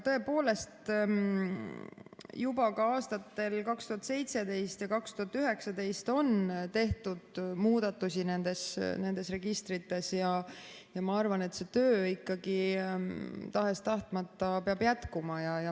Tõepoolest, juba aastatel 2017 ja 2019 on tehtud muudatusi nendes registrites ja ma arvan, et see töö tahes-tahtmata peab jätkuma.